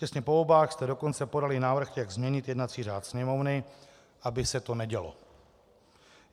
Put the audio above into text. Těsně po volbách jste dokonce podali návrh, jak změnit jednací řád Sněmovny, aby se to nedělo.